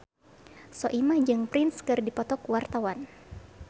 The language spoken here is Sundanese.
Soimah jeung Prince keur dipoto ku wartawan